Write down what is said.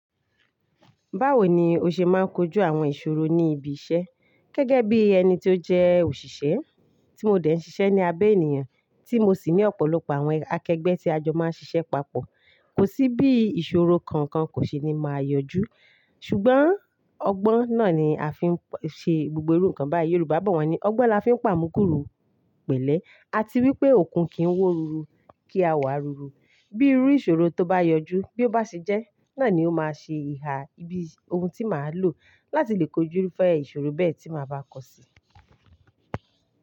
Báwo ni o ṣe máa ń kojú àwọn ìṣòro ní ibi iṣẹ́ gẹ́gẹ́ bí ẹni tí ó jẹ́ òṣìṣẹ́ tí mo dẹ̀ ń ṣiṣẹ́ ní abẹ ènìyàn tí mo sì ní ọ̀pọ̀lọpọ̀ àwọn akẹgbẹ́ tí a jọ máa ń ṣiṣẹ́ papọ̀. Kò sí bí ìṣòro kankan kò ṣe ní máa yọjú. Ṣùgbọ́n ọgbọ́n náà ni a fi ń ṣe gbogbo irú nǹkan báyìí. Yorùbá bọ̀ wá ní, "Ọgbon la fi ń pa mugúrú pẹ̀lẹ́." A ti rí i pé okùn kì í wọ́ ruru kí a wá ruru. Bí irú ìṣòro tó bá yọjú, bí ó bá ṣe jẹ́ náà ni ó máa ṣe ìhà ibi ohun tí màá lò láti lè kojúrúfẹ́ ìṣòro bẹ́ẹ̀ tí màá bá kọ sí.